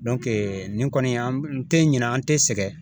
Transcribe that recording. nin kɔni an n tɛ ɲina an tɛ sɛgɛn.